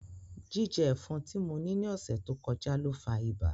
Jijẹ ẹfọn ti mo ni ni ọsẹ to kọja lo fa iba.